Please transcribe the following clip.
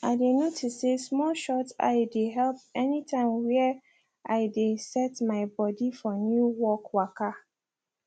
i dey notice say small shut eye dey help anytime were i dey set my body for new work waka